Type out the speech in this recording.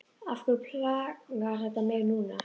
Af hverju plagar þetta mig núna?